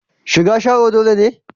Shigar Sharo dole ne?